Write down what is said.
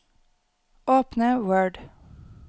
Åpne Word